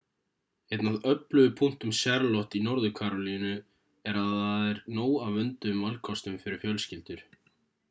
einn af öflugu punktum charlotte í norður-karólínu er að þar er nóg af vönduðum valkostum fyrir fjölskyldur